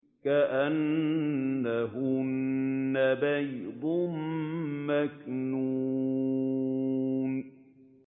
كَأَنَّهُنَّ بَيْضٌ مَّكْنُونٌ